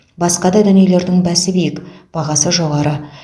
басқа да дүниелердің бәсі биік бағасы жоғары